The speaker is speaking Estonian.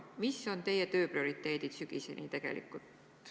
Mis on teie töö prioriteedid sügiseni?